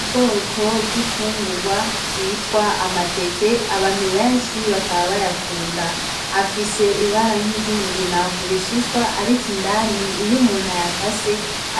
Ubwoko bw'infungurwa vyitwa amateke abantu benshi bakaba bayakunda, afise ibara nkiry'umugina kubishishwa ariko indani iyo umuntu ayakase